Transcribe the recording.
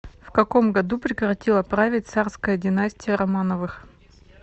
в каком году прекратила править царская династия романовых